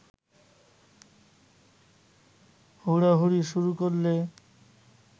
হুড়োহুড়ি শুরু করলে